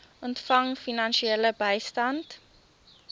ontvang finansiële bystand